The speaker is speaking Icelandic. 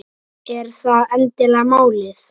Er það endilega málið?